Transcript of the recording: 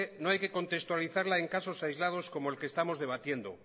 no hay que contextualizarla en casos aislados como el que estamos debatiendo